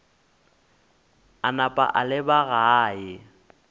a napa a leba gae